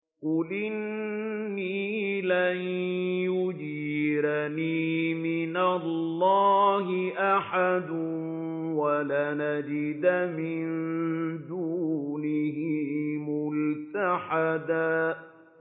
قُلْ إِنِّي لَن يُجِيرَنِي مِنَ اللَّهِ أَحَدٌ وَلَنْ أَجِدَ مِن دُونِهِ مُلْتَحَدًا